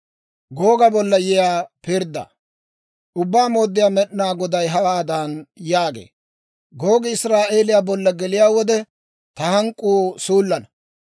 Ubbaa Mooddiyaa Med'inaa Goday hawaadan yaagee; «Googi Israa'eeliyaa bolla geliyaa wode, ta hank'k'uu suullana.